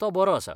तो बरो आसा.